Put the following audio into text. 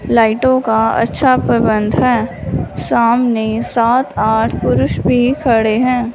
लाइटों का अच्छा प्रबंध है सामने सात आठ पुरुष भी खड़े हैं।